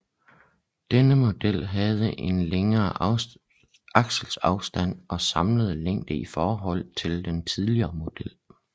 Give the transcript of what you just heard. Denne model havde en længere akselafstand og samlet længde i forhold til den tidligere model